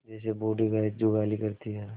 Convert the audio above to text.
जैसे बूढ़ी गाय जुगाली करती है